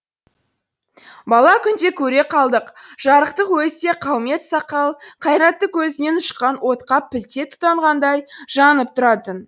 бала күнде көре қалдық жарықтық өзі де қаумет сақал қайратты көзінен ұшқан отқа пілте тұтанғандай жанып тұратын